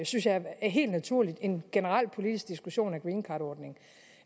synes jeg helt naturligt en generel politisk diskussion af greencardordningen